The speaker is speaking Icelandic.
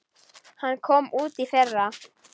Hún kom út í fyrra.